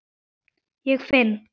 Ég finn